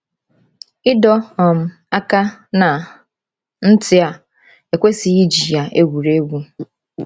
Ịdọ um aka ná ntị a ekwesịghị iji ya egwuri egwu.